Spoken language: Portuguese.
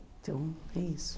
Então, é isso.